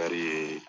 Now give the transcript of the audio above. Kari ye